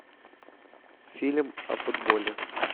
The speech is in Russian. фильм о футболе